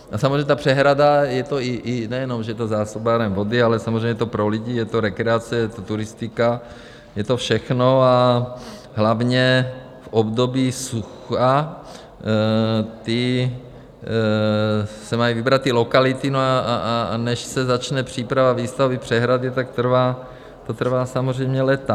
A samozřejmě ta přehrada, nejenom že je to zásobárna vody, ale samozřejmě je to pro lidi, je to rekreace, je to turistika, je to všechno - a hlavně v období sucha se mají vybrat ty lokality, a než se začne příprava výstavby přehrady, tak to trvá samozřejmě léta.